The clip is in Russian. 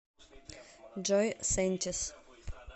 джой сэнтиз